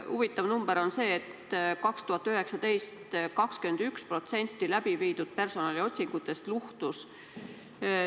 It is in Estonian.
Huvitav number on see, et 2019. aastal 21% läbiviidud personaliotsingutest luhtus.